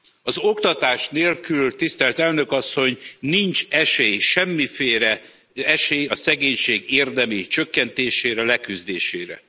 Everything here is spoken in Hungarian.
Az oktatás nélkül, tisztelt Elnök Asszony, nincs esély, semmiféle esély a szegénység érdemi csökkentésére, leküzdésére.